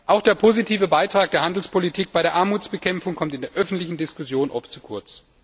Auch der positive Beitrag der Handelspolitik bei der Armutsbekämpfung kommt in der öffentlichen Diskussion oft zu kurz.